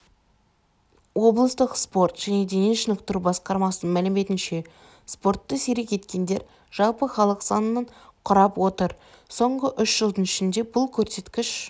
облыстық спорт және дене шынықтыру басқармасының мәліметінше спортты серік еткендер жалпы халық санының құрап отыр соңғы үш жылдың ішінде бұл көрсеткіш